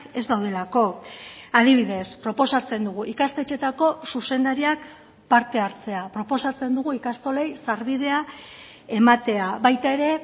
ez daudelako adibidez proposatzen dugu ikastetxeetako zuzendariak parte hartzea proposatzen dugu ikastolei sarbidea ematea baita ere